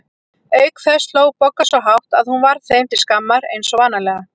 Auk þess hló Bogga svo hátt að hún varð þeim til skammar eins og vanalega.